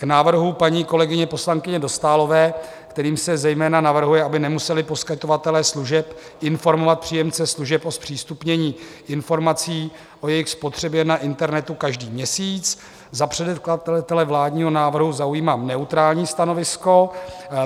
K návrhu paní kolegyně poslankyně Dostálové, kterým se zejména navrhuje, aby nemuseli poskytovatelé služeb informovat příjemce služeb o zpřístupnění informací o jejich spotřebě na internetu každý měsíc, za předkladatele vládního návrhu zaujímám neutrální stanovisko.